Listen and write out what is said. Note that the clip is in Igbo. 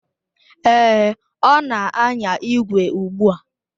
Èé, ọ na anya ígwè ugbu a.